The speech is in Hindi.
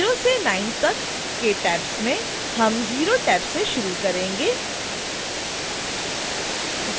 0 से 9 तक के tabs में से हम 0 टैब से शुरू range